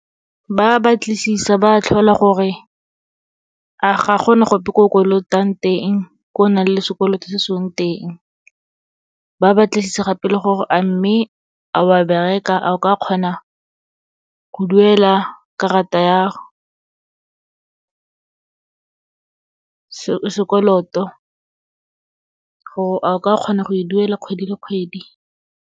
Ba batlisisa, ba tlhola gore a ga gona gope ko kolotang teng, ko o nang le sekoloto se sengwe teng. Ba batlisisa gape le gore, amme a wa bereka, a o ka kgona go duela karata ya sekoloto, gore o ka kgona go e duela kgwedi le kgwedi.